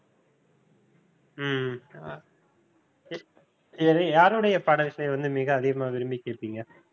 ஹம் சரி யாருடைய பாடல்களை வந்து மிக அதிகமா விரும்பி கேட்பீங்க?